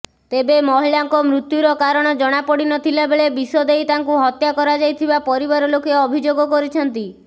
ତେବେ ମହିଳାଙ୍କ ମୃତ୍ୟୁର କାରଣ ଜଣାପଡ଼ିନଥିଲାବେଳେ ବିଷ ଦେଇ ତାଙ୍କୁ ହତ୍ୟା କରାଯାଇଥିବା ପରିବାର ଲୋକ ଅଭିଯୋଗ କରିଛନ୍ତି